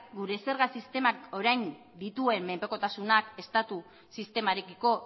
gure zerga sistemak orain dituen menpekotasunak estatu sistemarekiko